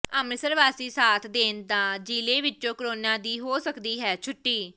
ਅੰਮ੍ਰਿਤਸਰ ਵਾਸੀ ਸਾਥ ਦੇਣ ਤਾਂ ਜਿਲੇ ਵਿਚੋਂ ਕੋਰੋਨਾ ਦੀ ਹੋ ਸਕਦੀ ਹੈ ਛੁੱਟੀ